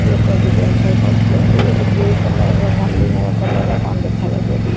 ଲୋକ ଯିବା ଆସିବା କରୁଛନ୍ତି ଏଠି ବ୍ଲୁ କଲର ର ନାଲି ନେଳି କଲର ର କଣ ଦେଖାଯାଉଛି ଏଠି।